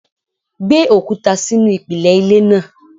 Gbé òkúta sínú ìpìlẹ̀ ilé náà!